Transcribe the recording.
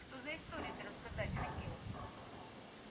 что за историю ты рассказать хотел